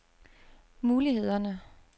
mulighederne